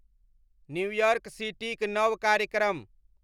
new York City क नव कार्यक्रम